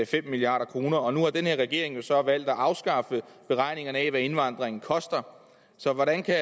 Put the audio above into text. fem milliard kroner nu har den her regering jo så valgt at afskaffe beregningerne af hvad indvandringen koster så hvordan kan